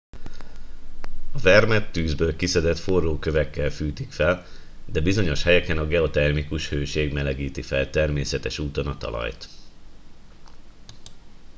a vermet tűzből kiszedett forró kövekkel fűtik fel de bizonyos helyeken a geotermikus hőség melegíti fel természetes úton a talajt